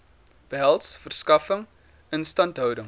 behels verskaffing instandhouding